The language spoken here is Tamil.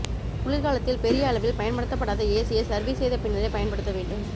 குளிர்காலத்தில் பெரிய அளவில் பயன்படுத்தப்படாத ஏசியை சர்வீஸ் செய்த பின்னரே பயன்படுத்த வேண்டும்